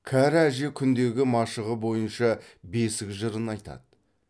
кәрі әже күндегі машығы бойынша бесік жырын айтады